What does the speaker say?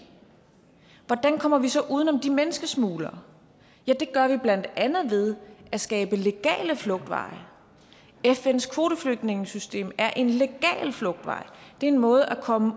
hvordan kommer vi så uden om de menneskesmuglere ja det gør vi blandt andet ved at skabe legale flugtveje fns kvoteflygtningesystem er en legal flugtvej det er en måde at komme